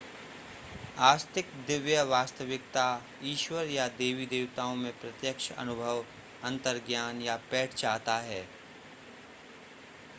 आस्तिक दिव्य वास्तविकता / ईश्वर या देवी-देवताओं में प्रत्यक्ष अनुभव अंतर्ज्ञान या पैठ चाहता है